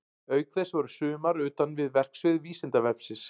Auk þess voru sumar utan við verksvið Vísindavefsins.